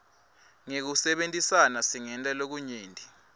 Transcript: ngekusebentisana singenta lokunyenti